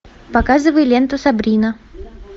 показывай ленту сабрина